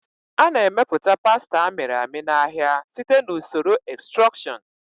A na-emepụta pasta a mịrị amị n'ahịa site na usoro extrusion.